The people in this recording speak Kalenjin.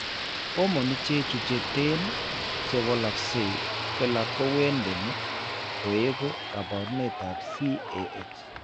Hormone ichechu cheten che walakse kila ko wendeni koeku kaabarunetap CAH.